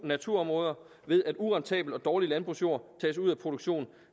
naturområder ved at urentabel og dårlig landbrugsjord tages ud af produktionen